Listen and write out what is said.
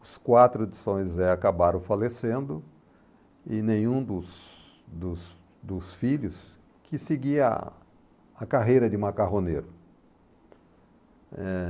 Os quatro de São José acabaram falecendo e nenhum dos dos dos filhos que seguir a a carreira de macarroneiro. Eh...